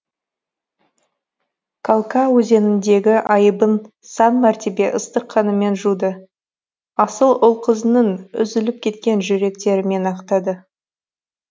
калка өзеніндегі айыбын сан мәртебе ыстық қанымен жуды асыл ұл қызының үзіліп кеткен жүректерімен ақтады